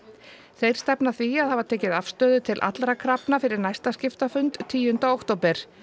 þeir stefna að því að hafa tekið afstöðu til allra krafna fyrir næsta tíunda október